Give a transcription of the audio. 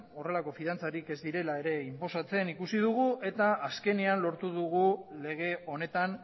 horrelako fidantzarik ez direla ere inposatzen ikusi dugu eta azkenean lortu dugu lege honetan